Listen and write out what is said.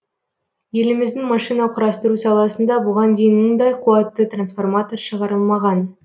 еліміздің машина құрастыру саласында бұған дейін мұндай қуатты трансформатор шығарылмаған